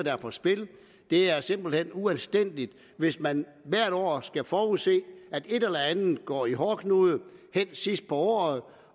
er på spil det er simpelt hen uanstændigt hvis man hvert år skal forudse at et eller andet går i hårdknude sidst på året